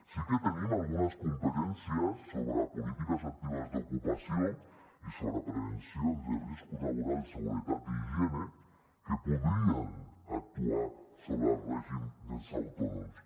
sí que tenim algunes competències sobre polítiques actives d’ocupació i sobre prevencions de riscos laborals seguretat i higiene que podrien actuar sobre el règim dels autònoms